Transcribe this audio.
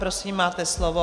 Prosím, máte slovo.